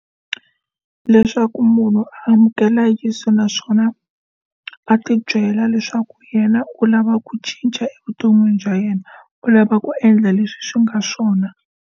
Leswaku munhu amukela Yeso naswona a ti byela leswaku yena u lava ku cinca evuton'wini bya yena u lava ku endla leswi swi nga swona.